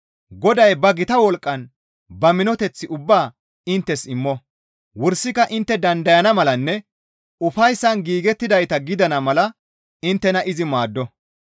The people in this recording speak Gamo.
Goday ba gita wolqqan ba minoteth ubbaa inttes immo; wursika intte dandayana malanne ufayssan giigettidayta gidana mala inttena izi maaddo.